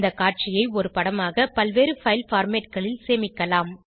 இந்த காட்சியை ஒரு படமாக பல்வேறு பைல் formatகளில் சேமிக்கலாம்